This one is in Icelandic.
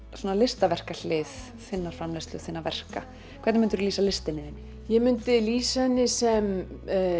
svona þinnar framleiðslu þinna verka hvernig myndirðu lýsa listinni þinni ég myndi lýsa henni sem